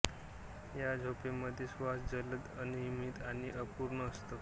या झोपेमध्ये श्वास जलद अनियमित आणि अपूर्ण असतो